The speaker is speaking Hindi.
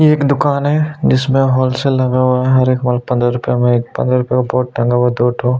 ये एक दूकान है जिसमें होलसेल लगा हुआ है हर एक माल पंद्रह रुपे में पंद्रह रुपे का बोर्ड टंगा हुआ है दो ठो--